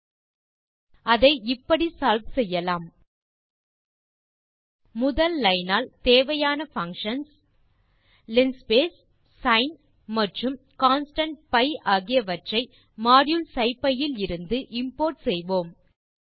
ல்ட்பாசெக்ட் அதை இப்படி சால்வ் செய்யலாம் முதல் லைன் ஆல் தேவையான பங்ஷன்ஸ் linspace sin மற்றும் கான்ஸ்டன்ட் பி ஆகியவற்றை மாடியூல் சிப்பி இலிருந்து இம்போர்ட் செய்வோம்